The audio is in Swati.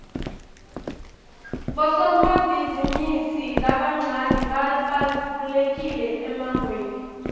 bosomabhizimisi labancane babalulekile emangweni